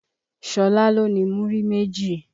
Ṣọlá ló ni múrí méjì.